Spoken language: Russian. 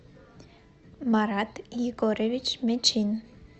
марат егорович мечин